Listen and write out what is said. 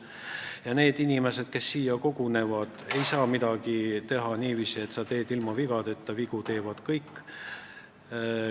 Ja need inimesed, kes siia kogunevad, ei saa midagi teha niiviisi, et nad teeksid seda ilma vigadeta – vigu teevad kõik.